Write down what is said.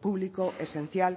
público esencial